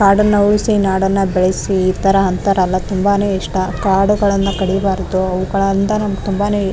ಕಾಡನ್ನು ಉಳಿಸಿ ನಾಡನ್ನ ಬೆಳಸಿ. ಈತರ ಅಂತಾರಲ್ಲ ತುಂಬಾನೆ ಇಷ್ಟ. ಕಾಡುಗಳನ್ನ ಕಡಿಬಾರ್ದು ಅವುಗಳಂದ್ ನಂಗ್ ತುಂಬಾನೆ --